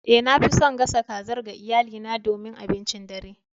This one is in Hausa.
Eh, nafi son gasa kazar ga iyalina domin abincin dare.